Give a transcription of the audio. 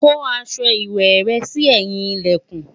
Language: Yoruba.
kò aṣọ ìwé rè sí ẹyin ilẹkùn